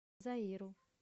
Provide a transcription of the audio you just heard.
заиру